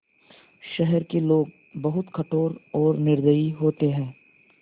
शहर के लोग बहुत कठोर और निर्दयी होते हैं